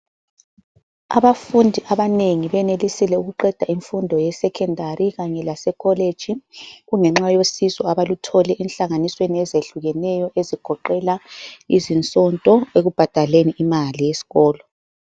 Abafundi abanengi benelisile ukuqeda imfundo yeSecondary kanye laseCollege kungenxa yosizo abaluthole enhlanganisweni ezehlukeneyo ezigoqela izisonto ekubhadaleni imali yesikolo.